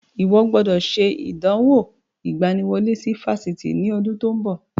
Ó gbọ́dọ̀ ṣe ìdánwò ìgbaniwọlé sí Fásitì ní ọdún tí ó ń bọ̀.